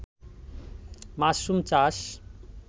mushroom চাষ